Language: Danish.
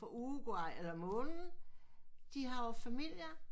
Uruguay eller månen de har jo familier